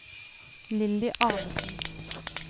Lilly Arnesen